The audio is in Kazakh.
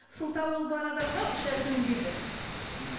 сылтау ол бар адамға ешнәрсе өнбейді м